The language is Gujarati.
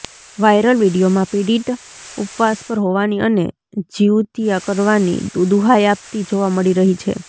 વાયરલ વીડિયોમાં પીડિતા ઉપવાસ પર હોવાની અને જિઉતિયા કરવાની દુહાઈ આપતી જોવા મળી રહી છે